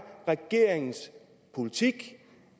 regeringens politik